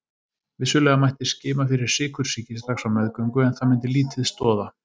Vissulega mætti skima fyrir sykursýki strax á meðgöngu en það myndi lítið stoða.